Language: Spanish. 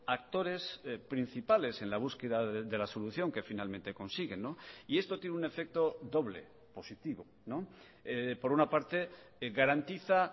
actores principales en la búsqueda de la solución que finalmente consiguen y esto tiene un efecto doble positivo por una parte garantiza